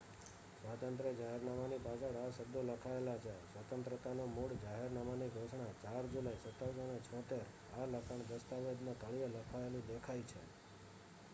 "સ્વાતંત્ર્ય જાહેરનામાની પાછળ આ શબ્દો લખાયેલા છે "સ્વતંત્રતાનું મૂળ જાહેરનામાની ઘોષણા 4 જુલાઈ 1776"". આ લખાણ દસ્તાવેજના તળિયે લખાયેલું દેખાય છે.